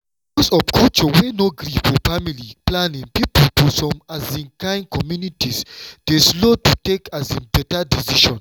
because of culture wey no gree for family planning people for some um kain communities dey slow to take um beta decision.